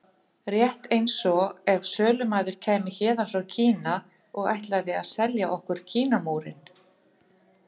Rétt eins og ef sölumaður kæmi héðan frá Kína og ætlaði að selja okkur Kínamúrinn.